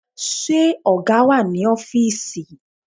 Ṣé ọ̀gá wà ní ọfísì?